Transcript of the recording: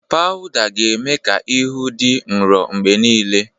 Pawụda ga-eme ka ihu dị nro mgbe niile.